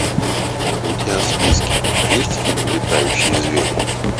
у тебя в списке есть фильм летающие звери